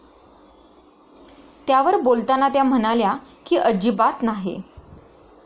त्यावर बोलताना त्या म्हणाल्या की, अजिबात नाही.